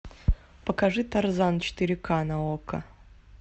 покажи тарзан четыре ка на окко